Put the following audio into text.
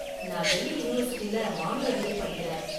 நான் டெல்லி யூனிவர்சிட்டில மானுடவியல் படிக்கறேன்.